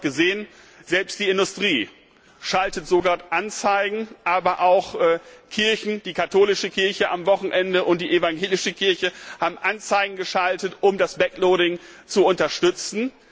Sie haben es heute gesehen Selbst die Industrie schaltet Anzeigen, aber auch Kirchen, die katholische Kirche am Wochenende und die evangelische Kirche, haben Anzeigen geschaltet, um das Backloading zu unterstützen.